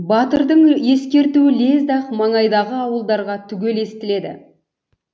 батырдың ескертуі лезде ақ маңайдағы ауылдарға түгел естіледі